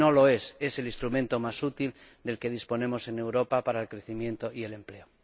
No lo es, es el instrumento más útil del que disponemos en Europa para el crecimiento y el empleo.